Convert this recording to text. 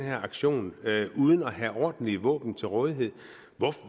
her aktion uden at have ordentlige våben til rådighed